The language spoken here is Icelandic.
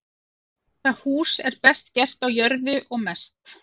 Það hús er best gert á jörðu og mest.